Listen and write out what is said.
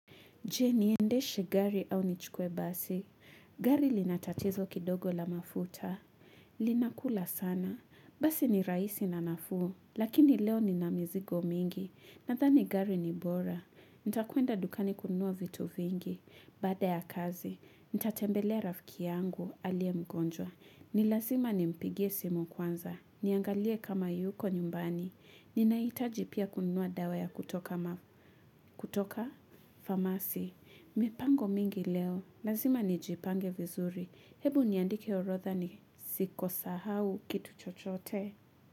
Je niendeshe gari au nichukue basi. Gari lina tatizo kidogo la mafuta. Linakula sana. Basi ni rahisi na nafuu. Lakini leo nina mizigo mingi. Nathani gari ni bora. Nitakwenda dukani kununua vitu vingi. Baada ya kazi, nitatembelea rafiki yangu aliye mgonjwa. Ni lazima nimpigie simu kwanza. Niangalie kama yuko nyumbani. Ninahitaji pia kununua dawa ya kutoka mafutu. Kutoka famasi. Mipango mingi leo, lazima nijipange vizuri, hebu niandike orotha ni sikosahau kitu chochote.